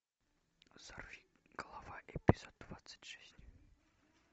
сорви голова эпизод двадцать шесть